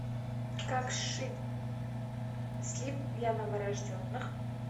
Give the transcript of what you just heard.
как сшить слип для новорожденных